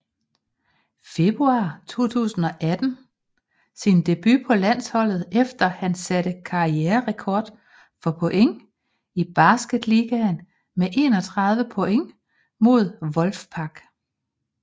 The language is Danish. Februar 2018 sin debut på landsholdet efter han satte karriererekord for point i Basketligaen med 31 point mod Wolfpack